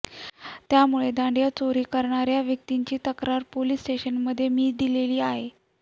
त्यामुळे दांडिया चोरी करणाऱ्या व्यक्तींची तक्रार पोलिस स्टेशनमध्ये मी दिलेली आहे